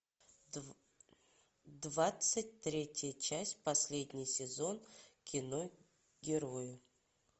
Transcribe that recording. двадцать третья часть последний сезон кино герои